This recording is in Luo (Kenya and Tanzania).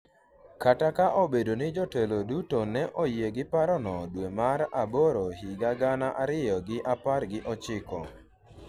kata ka obedo ni jotelo duto ne oyie gi paro no dwe mar aboro higa gana ariyo gi apar gi ochiko